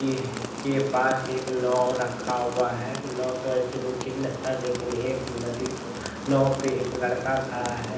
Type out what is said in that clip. ये हट के पास एक नाउ रखा हुआ है नाउ तो ऐसे दो तीन है लेकिन एक नदी नाउ पे एक लड़का खड़ा है |